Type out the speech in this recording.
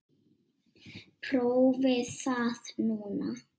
Prófið það núna.